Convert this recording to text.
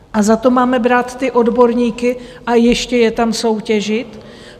A za to máme brát ty odborníky a ještě je tam soutěžit?